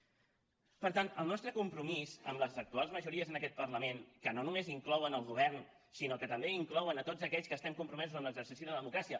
per tant el nostre compromís amb les actuals majories en aquest parlament que no només inclouen el govern sinó que també inclouen tots aquells que estem compromesos en l’exercici de la democràcia